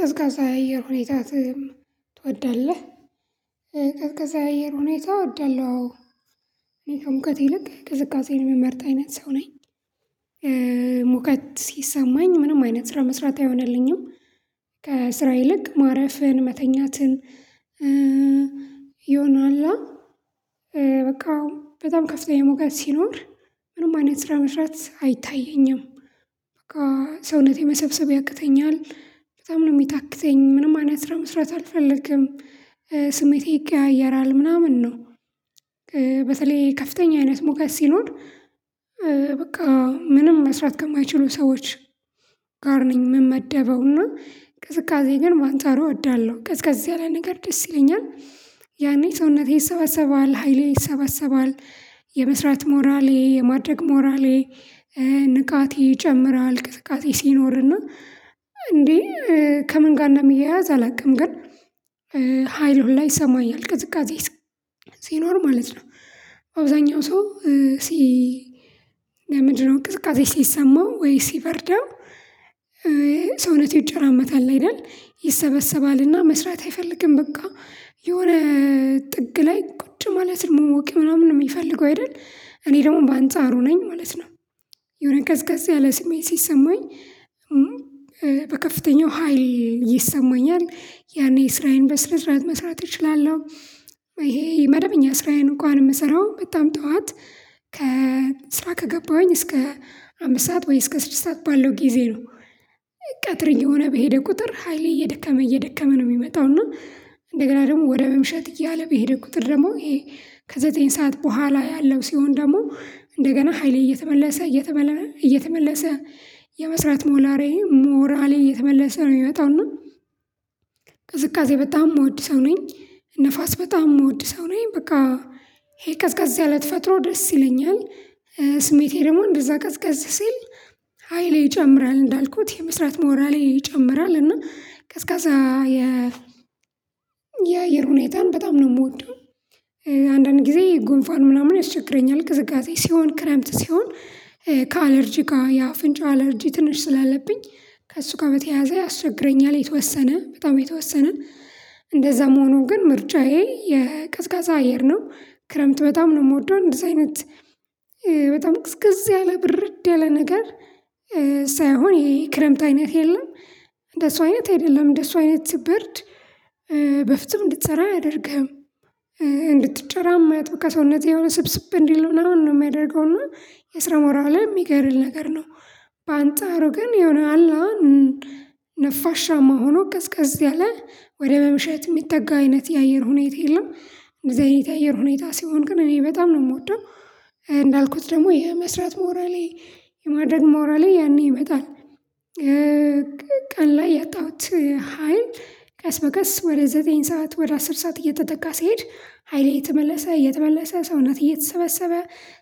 ቀዝቃዛ የአየር ሁኔታ ትወዳለህ? ቀዝቃዛ አየር ሁኔታ እወዳለሁ አዎ እኔ ከሙቀት ይልቅ ቅዝቃዜን የምመርጥ አይነት ሰው ነኝ። ሲሰማኝ ምንም አይነት ስራ መስራት አይሆንልኝም። ከስራ ይልቅ ማረፍን መተኛትን ይሆናልአ። በቃ በጣም ከፍተኛ ሙቀት ሲኖር ምንም አይነት ስራ መስራት አይታየኝም። በቃ ሰውነቴ መሰብሰብ ያቅተኛል በጣም ነው የሚታክተኝ ምንም አይነት ስራ መስራት አልፈልግም። ስሜቴ ይቀያየራል ምናምን ነው። በተለይ ከፍተኛ አይነት ሙቀት ሲኖር በቃ ምንም መስራት ከማይችሉ ሰዎች። ጋር ነኝ ምን ምመደበው እና ቅዝቃዜ ግን በአነጻሩ እወዳለሁ ቅዝቀዝ ያለ ነገር ደስ ይለኛል። ያኔ ሰውነቴ ይሰባሰባል ሃይሌ ይሰባሰባል የመስራት ሞራሌ የማድረግ ሞራሌ። ንቃቴ ይጨምራል ቅዝቃዜ ሲኖርና እንዴ ከምን ጋር እንደሚያያዝ አላውቅም። ግን ሀይል ሁላ ላይ ይሰማኛል ቅዝቃዜ ሲኖር ማለት ነው። አብዛኛው ሰው ሲ ምንድነው ቅዝቃዜ ሲሰማው ወይ ሲበርደው? ሰውነቴ ይጨራመታል አይደል ይሰበሰባልና መስራት አይፈልግም በቃ። የሆነ ጥግ ላይ ቁጭ ማለት ነው መሞቅ ምናምን ነው የሚፈልገው አይደል? እኔ ደግሞ በአንጻሩ ነኝ ማለት ነው። የሆነ ቀዝቀዝ ያለ ስሜት ሲሰማኝ። በከፍተኛው ሀይል ይሰማኛል ያኔ ስራዬን በስነስራአት መስራት እችላለሁ ይሄ መደበኛ ስራዬን እንኳን የምሰራው በጣም ጠዋት ከስራ ከገባሁኝ እስከ አምስት ሰዓት ወይ እስከ ስድስት ሰዓት ባለው ጊዜ ነው። ቀትር እየሆነ በሄደ ቁጥር ሃይሌ እየደከመ እየደከመ ነው የሚመጣው እና እንደገና ደግሞ ወደ መምሸት እያለ በሄደ ቁጥር ደግሞ ይሄ ከዘጠኝ ሰዓት በኋላ ያለው ሲሆን ደግሞ እንደገና ሃይሌ እየተመለሰ እየተመለ እየተመለሰ የመስራት ሞላሪ ሞራሌ እየተመለሰ ነው የሚመጣው እና። ቅዝቃዜ በጣም እምወድ ሰው ነኝ ንፋስ በጣም እምወድ ሰው ነኝ በቃ። ይሄ ቀዝቀዝ ያለ ተፈጥሮ ደስ ይለኛል ስሜቴ ደግሞ እንደዛ ቀዝቀዝ ሲል ሃይሌ ይጨምራል እንዳልኩት የመስራት ሞራሌ ይጨምራል እና ቀዝቃዛ የ የአየር ሁኔታን በጣም ነው የምወደው። አንዳንድ ጊዜ ጉንፋን ምናምን ያስቸግረኛል ቅዝቃዜ ሲሆን ክረምት ሲሆን ከአለርጂ ጋር የአፍንጫ አለርጂ ትንሽ ስላለብኝ ከእሱ ጋር በተያያዘ ያስቸግረኛል። የተወሰነ በጣም የተወሰነ እንደዛም ሆኖ ግን ምርጫዬ የቀዝቃዛ አየር ነው። ክረምት በጣም ነው እምወደው እንደዚህ አይነት በጣም ቅዝቅዝ ያለ ብርድ ያለ ነገር ሳይሆን ይሄ ክረምት አይነት የለም። እንደሱ አይነት አይደለም እንደሱ አይነት ብርድ በፎጹም እንድትሰራ አያደርግህም። እንድትጨራመት በቃ ሰዉነትህ የሆነ ስብስብ እንዲል ምናምን ነው የሚያደርገው እና የስራ ሞራልህን የሚገድል ነገር ነው። በአንጻሩ ግን የሆነ አላአ ነፋሻማ መሆኑ ቀዝቀዝ ያለ ወደ በምሽት የሚጠጋ አይነት የአየር ሁኔታ የለም። እንደዛ አይነት የአየር ሁኔታ ሲሆን ግን እኔ በጣም ነው የምወደው። እንዳልኩት ደግሞ የ መስራት ሞራሌ የማድረግ ሞራሌ ያኔ ይመጣል። ቀን ላይ ያጣሁት ሀይል ቀስ በቀስ ወደ ዘጠኝ ሰዓት ወደ አስር ሰዓት እየተተካ ሲሄድ ሃይሌ እየተመለሰ እየተመለሰ ሰውነቴ እየተሰበሰበ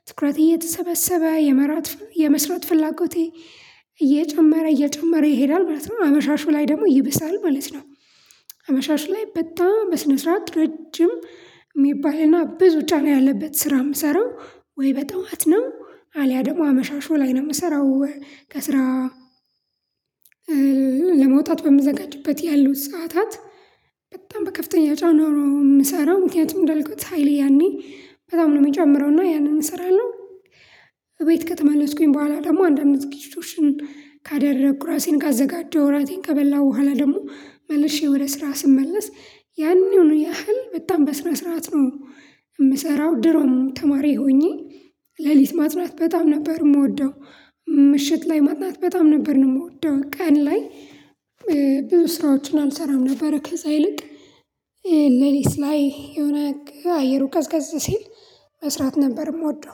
ትኩረቴ እየተሰበሰበ የመራት የመስራት ፍላጎቴ እየጨመረ እየጨመረ ይሄዳል ማለት ነው አመሻሹ ላይ ደግሞ ይብሳል ማለት ነው። አመሻሹ ላይ በጣም በስነ ስርዓት ረጅም የሚባልና ብዙ ጫና ያለበት ስራ የምሰራው ወይ በጠዋት ነው አልያ ደግሞ አመሻሹ ላይ ነው የምሰራው። ከስራ ለመውጣት በምዘጋጅበት ያሉት ሰዓታት በጣም በከፍተኛ ጫና ነው የምሰራው ምክንያቱም እንዳልኩት ሃይሌ ያኔ በጣም ነው የሚጨምረው እና ያንን እሰራለሁ። እቤት ከተመለስኩኝ በኋላ ደግሞ አንድ አንድ ዝግጅቶችን ካደረኩ ራሴን ካዘጋጀው ራቴን ከበላሁ በኋላ ደግሞ መልሼ ወደ ስራ ስመለስ ያኔውን ያህል በጣም በስነ ስርዓት ነው። የምሰራው ድሮም ተማሪ ሆኜ ሌሊት ማጥናት በጣም ነበር የምወደው ምሽት ላይ ማጥናት በጣም ነበር የምወደው። ቀን ላይ ብዙ ስራዎችን አልሰራም ነበር ከዛ ይልቅ ሌሊት ላይ የሆነ አየሩ ቀዝቀዝ ሲል መስራት ነበር የምወደው